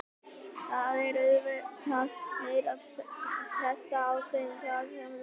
Það er auðvitað meiri pressa á þeim þar sem þeir hafa tapað einum leik.